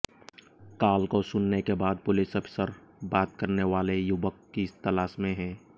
call को सुनने के बाद पुलिस अफसर बात करने वाले युवक की तलाश में है